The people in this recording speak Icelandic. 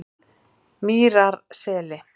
Mýrarseli